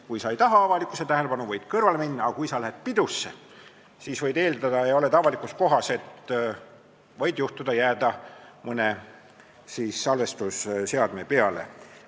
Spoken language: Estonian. Kui sa ei taha avalikkuse tähelepanu, siis võid kõrvale minna, aga kui sa lähed pidusse ja oled avalikus kohas, siis võid eeldada, et võid jääda mõne salvestise peale.